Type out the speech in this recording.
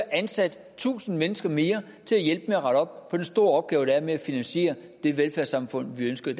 ansat tusind mennesker mere til at hjælpe med at rette op på den store opgave der er med at finansiere det velfærdssamfund vi ønsker i